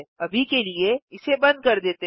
अभी के लिए इसे बंद कर देते हैं